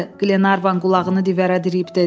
Qlenarvan qulağını divərə diriyib dedi.